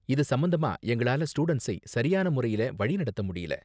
இது சம்பந்தமா எங்களால ஸ்டூடண்ட்ஸை சரியான முறையில வழி நடத்த முடியல.